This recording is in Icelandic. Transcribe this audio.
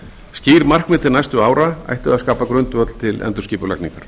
skýr markmið til næstu ára ættu að skapa grundvöll til endurskipulagningar